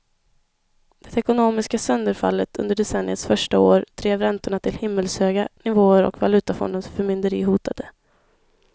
Det ekonomiska sönderfallet under decenniets första år drev räntorna till himmelshöga nivåer och valutafondens förmynderi hotade.